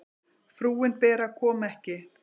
Frúin Bera kom ekki.